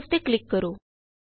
ਹੁਣ ਸੇਵ ਤੇ ਕਲਿਕ ਕਰੋ